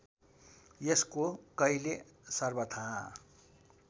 यसको कहिल्यै सर्वथा